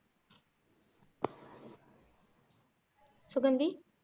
Suganthi